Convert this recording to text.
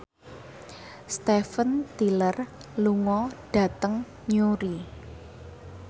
Steven Tyler lunga dhateng Newry